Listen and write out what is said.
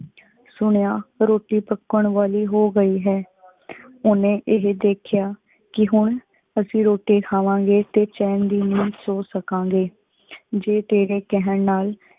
ਸੁਨਿਯਾ ਰੋਟੀ ਪਕਣ ਵਾਲੀ ਹੋ ਗਏ ਹੈ। ਓਹਨੇ ਏਹੀ ਦੇਖ੍ਯਾ ਕੀ ਹੁਣ ਅਸੀਂ ਰੋਟੀ ਖਾਵਾਂਗੇ ਤੇ ਚੈਨ ਦੇ ਨੀਂਦ ਸੋ ਸਕਾਂਗੇ। ਜੀ ਤੇਰੇ ਕਹਿਣ ਨਾਲ